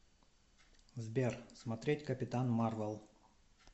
сбер смотреть капитан марвел